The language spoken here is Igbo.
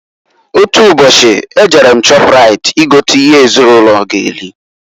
Otu ubochi, e jere m Shọprait I gota ihe ezinụlọ g'eri.